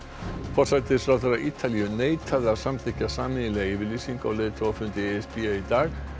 forsætisráðherra Ítalíu neitaði að samþykkja sameiginlega yfirlýsingu á leiðtogafundi e s b í dag